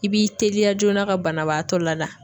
I b'i teliya joona ka banabaatɔ la da.